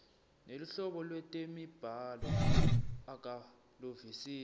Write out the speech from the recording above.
neluhlobo lwetemibhalo akaluvisisi